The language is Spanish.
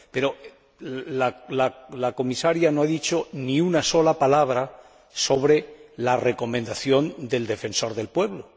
Pero la Comisaria no ha dicho ni una sola palabra sobre la recomendación del Defensor del Pueblo.